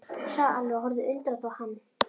sagði Alli og horfði undrandi á hann.